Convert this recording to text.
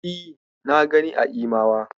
E, na gani a Imawa.